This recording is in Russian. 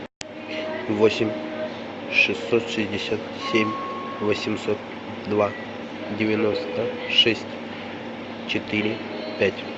восемь шестьсот шестьдесят семь восемьсот два девяносто шесть четыре пять